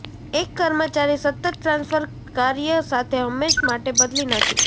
એક કર્મચારી સતત ટ્રાન્સફર કાર્ય સાથે હંમેશ માટે બદલી નાંખી છે